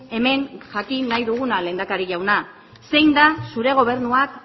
hemen jakin nahi duguna lehendakari jauna zein den zure gobernuak